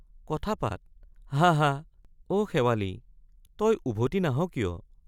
— কথা পাত—হাঁ—হাঁ অ শেৱালি তই উভটি নাহ কিয়?